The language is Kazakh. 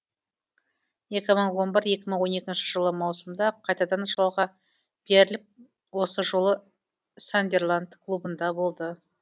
екі мың он бір екі мың он екі жылы маусымда қайтадан жалға беріліп осы жолы сандерланд клубында болды